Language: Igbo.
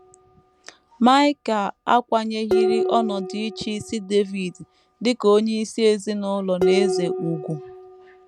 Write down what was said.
Maịkal akwanyeghịrị ọnọdụ ịchịisi Devid dị ka onyeisi ezinụlọ na eze, ùgwù